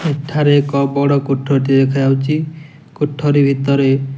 ଏଠାରେ ଏକ ବଡ କୋଠରି ଟିଏ ଦେଖାଯାଉଛି କୋଠରି ଭିତରେ --